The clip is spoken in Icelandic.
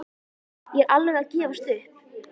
Ég er alveg að gefast upp.